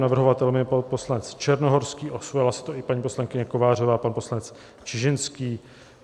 Navrhovatelem je pan poslanec Černohorský, osvojila si to i paní poslankyně Kovářová a pan poslanec Čižinský.